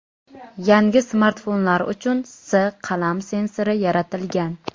Yangi smartfonlar uchun S qalam sensori yaratilgan.